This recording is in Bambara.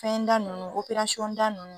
Fɛn da nunnu da nunnu.